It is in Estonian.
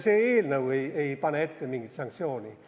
See eelnõu ei pane ette mingit sanktsiooni.